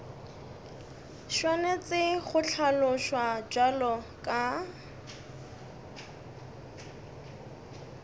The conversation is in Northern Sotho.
swanetše go hlaloswa bjalo ka